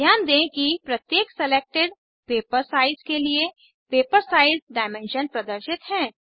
ध्यान दें कि प्रत्येक सेलेक्टेड पेपर साइज के लिए पेपर साइज डायमेंशन्स प्रदर्शित हैं